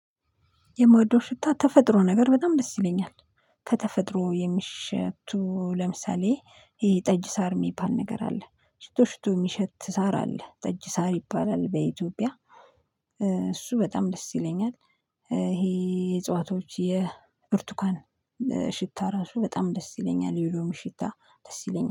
የምወደው ሽታ ተፈጥሮ ነገር በጣም ደስ ይለኛል። ከተፈጥሮ የሚሸቱ ለምሳሌ ይሄ ጠጅ ሳር እሚባል ነገር አለ። ሽቶ ሽቶ የሚሸት ሳር አለ። ጠጅ ሳር ይባላል በኢትዮጵያ። እሱ በጣም ደስ ይለኛል። ይሄ የዕፅዋቶች፣ የብርቱካን ሽታ ራሱ በጣም ደስ ይለኛል። የሎሚ ሽታ ደስ ይለኛል።